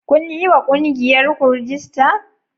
Kun yi wa ƙungiyarku rajista?